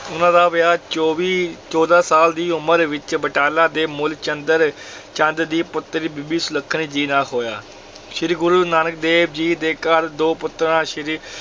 ਉਹਨਾਂ ਦਾ ਵਿਆਹ ਚੌਵੀ ਚੌਦਾਂ ਸਾਲ ਦੀ ਉਮਰ ਵਿੱਚ ਬਟਾਲਾ ਦੇ ਮੂਲ ਚੰਦਰ ਚੰਦ ਦੀ ਪੁੱਤਰੀ ਬੀਬੀ ਸੁਲੱਖਣੀ ਜੀ ਨਾਲ ਹੋਇਆ, ਸ੍ਰੀ ਗੁਰੂ ਨਾਨਕ ਦੇਵ ਜੀ ਦੇ ਘਰ ਦੋ ਪੁੱਤਰਾਂ ਸ੍ਰੀ